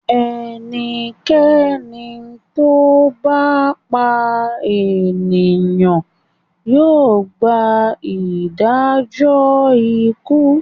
Ẹnikẹ́ni tó bá pa ènìyàn yóò gba Ìdẹ́jọ ikú.